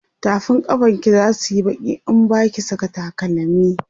tafin kafan ki zasuyi Baki in Baki Saka takalami